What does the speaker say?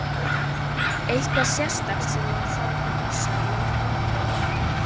Eitthvað sérstakt sem að þarf að passa í leik Búlgarana?